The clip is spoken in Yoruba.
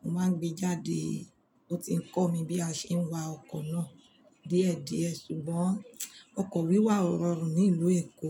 Mo máa ń gbe jáde. Ó ti ń kọ́ mi bí a ṣe ń wa ọkọ̀ náà díẹ̀ díẹ̀. Ṣùgbọ́n ọkọ̀ wíwà ọ̀rọrùn ní ìlú Èkó.